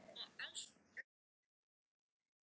Veistu hvert hann er að fara?